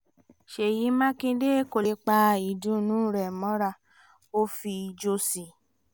ṣèyí mákindé kò lè pa ìdùnnú re mọ́ra ó fi ijó sí i